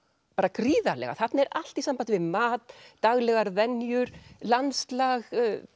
gríðarlega þarna er allt í sambandi við mat daglegar venjur landslag